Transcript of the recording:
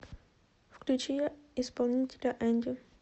включи исполнителя энди